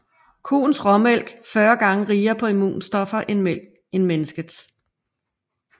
Koens råmælk 40 gange rigere på immunstoffer end menneskets